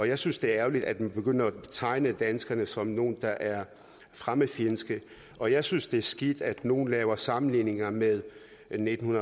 jeg synes det er ærgerligt at man begynder at tegne danskerne som nogle der er fremmedfjendske og jeg synes det er skidt at nogle laver sammenligninger med nitten